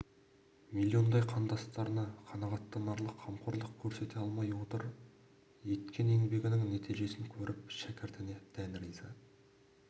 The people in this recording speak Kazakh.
миллиондай қандастарына қанағаттанарлық қамқорлық көрсете алмай отыр еткен еңбегінің нәтижесін көріп шәкіртіне дән риза